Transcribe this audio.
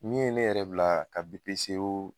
Min ye ne yɛrɛ bila ka BPCO